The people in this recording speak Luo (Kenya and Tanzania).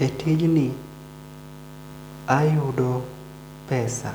Ee tijni ayudo pesa